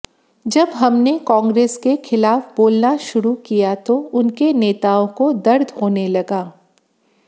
जब हमने कांग्रेस के खिलाफ बोलना शुरू किया तो उनके नेताओं को दर्द होने लगा